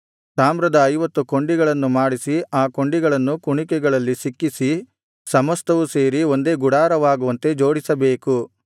ತಾಮ್ರದ ಐವತ್ತು ಕೊಂಡಿಗಳನ್ನು ಮಾಡಿಸಿ ಆ ಕೊಂಡಿಗಳನ್ನು ಕುಣಿಕೆಗಳಲ್ಲಿ ಸಿಕ್ಕಿಸಿ ಸಮಸ್ತವು ಸೇರಿ ಒಂದೇ ಗುಡಾರವಾಗುವಂತೆ ಜೋಡಿಸಬೇಕು